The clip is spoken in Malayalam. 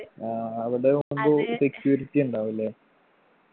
ആ അവിടെയാവുമ്പൊ security ഉണ്ടാവും ല്ലേ